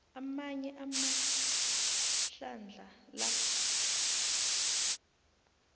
amanye amahlandla la